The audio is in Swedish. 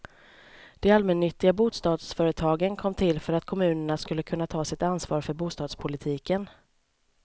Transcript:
De allmännyttiga bostadsföretagen kom till för att kommunerna skulle kunna ta sitt ansvar för bostadspolitiken.